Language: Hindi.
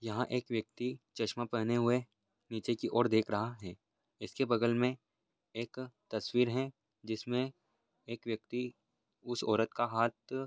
यहा एक व्यक्ति चश्मा पहने हुए नीचे की और देख रहा है इसके बगल मे एक तस्वीर है जिसमे एक व्यक्ति उस औरत का हाथ--